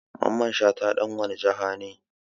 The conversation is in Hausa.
Mamman Shata dan wani jiha ne?